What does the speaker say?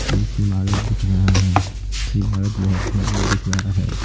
एक इमारत दिख रहा है इमारत बहुत सुंदर दिख रहा है।